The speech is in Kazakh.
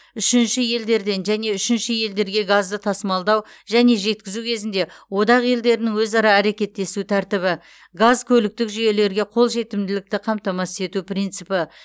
үшінші елдерден және үшінші елдерге газды тасымалдау және жеткізу кезінде одақ елдерінің өзара әрекеттесу тәртібі газкөліктік жүйелерге қолжетімділікті қамтамасыз ету принципі